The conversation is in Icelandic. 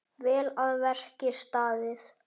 Vel að verki staðið.